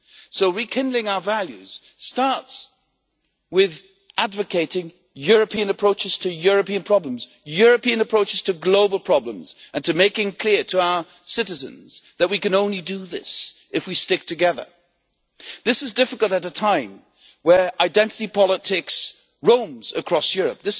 So rekindling our values starts with advocating European approaches to European problems, European approaches to global problems, and with making clear to our citizens that we can only do this if we stick together. This is difficult at a time where identity politics roam across Europe.